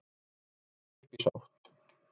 Búið að gera upp í sátt